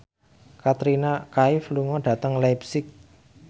Katrina Kaif lunga dhateng leipzig